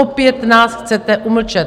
Opět nás chcete umlčet.